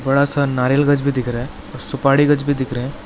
बड़ा सा नारियल गछ भी दिख रहा है और सुपाड़ी गछ भी दिख रहा है।